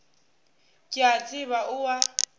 ke a tseba o a